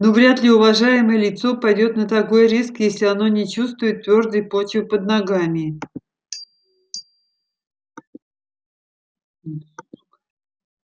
ну вряд ли уважаемое лицо пойдёт на такой риск если оно не чувствует твёрдой почвы под ногами